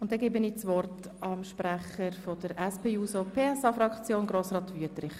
Ich erteile das Wort dem Sprecher der SP-JUSO-PSA-Fraktion, Grossrat Wüthrich.